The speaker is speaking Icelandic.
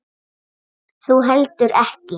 Þú heldur ekki.